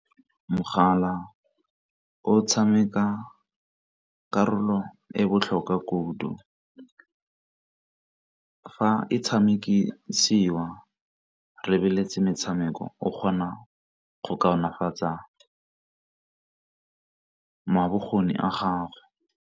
Mogala o tshameka karolo e botlhokwa kudu, fa e tshamekisiwa re lebeletse metshameko o kgona go kaonafatsa bokgoni a gago.